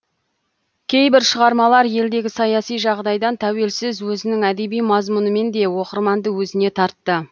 кейбір шығармалар елдегі саяси жағдайдан тәуелсіз өзінің әдеби мазмұнымен де оқырманды өзіне тартты